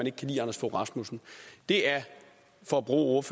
ikke kan lide anders fogh rasmussen det er for at bruge